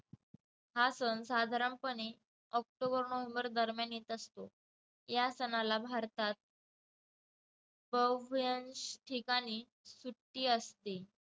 हा सण साधारणपणे ऑक्टोबर-नोव्हेंबर दरम्यान येत असतो. या सणाला भारतात ठिकाणी सुट्टी असते.